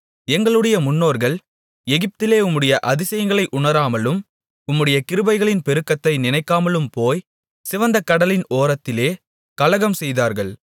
எங்களுடைய முன்னோர்கள் எகிப்திலே உம்முடைய அதிசயங்களை உணராமலும் உம்முடைய கிருபைகளின் பெருக்கத்தை நினைக்காமலும் போய் சிவந்த கடலின் ஓரத்திலே கலகம்செய்தார்கள்